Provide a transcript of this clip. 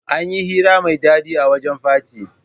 Anyi hira mai dadi a wajan fati